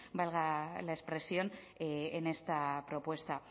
valga la expresión en esta propuesta